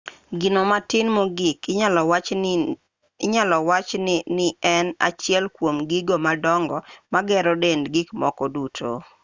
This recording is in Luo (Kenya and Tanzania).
gino matin mogik inyalo wachi nien achiel kuom gigo madongo magero dend gikmoko duto